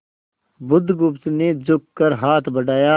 बुधगुप्त ने झुककर हाथ बढ़ाया